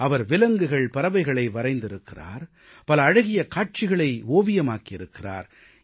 அவர் விலங்குகள்பறவைகளை வரைந்திருக்கிறார் பல அழகிய காட்சிகளை ஓவியமாக்கி இருக்கிறார்